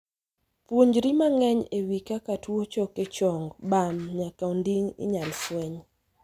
Puonjri mang'eny e wii kaka tuo choke chong, bam, nyaka onding' inyal fweny.